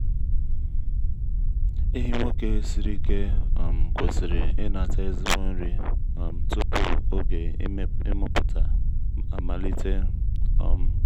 ehi nwoke siri ike um kwesịrị inata ezigbo nri um tupu oge ịmụpụta amalite. um